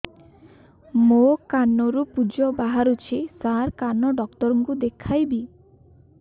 ମୋ କାନରୁ ପୁଜ ବାହାରୁଛି ସାର କାନ ଡକ୍ଟର କୁ ଦେଖାଇବି